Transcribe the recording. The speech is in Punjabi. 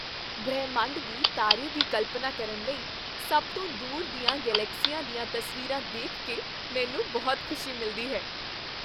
ਬ੍ਰਹਿਮੰਡ ਦੀ ਤਾਰੇ ਦੀ ਕਲਪਨਾ ਕਰਨ ਲਈ ਸਭ ਤੋਂ ਦੂਰ ਦੀਆਂ ਗਲੈਕਸੀਆਂ ਦੀਆਂ ਤਸਵੀਰਾਂ ਦੇਖ ਕੇ ਮੈਨੂੰ ਬਹੁਤ ਖ਼ੁਸ਼ੀ ਮਿਲਦੀ ਹੈ।